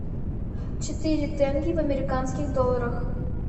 четыре тенге в американских долларах